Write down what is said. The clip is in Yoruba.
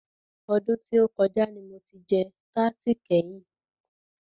Ọdún tí o kọjá ní mo jẹ tarti kẹ́yin.